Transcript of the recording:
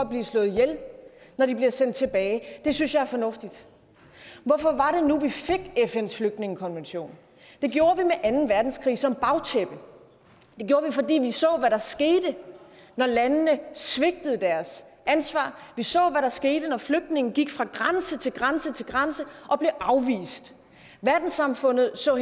bliver slået ihjel når de bliver sendt tilbage det synes jeg er fornuftigt hvorfor var det nu vi fik fns flygtningekonvention det gjorde vi med anden verdenskrig som bagtæppe det gjorde vi fordi vi så hvad der skete når landene svigtede deres ansvar vi så hvad der skete når flygtninge gik fra grænse til grænse til grænse og blev afvist verdenssamfundet så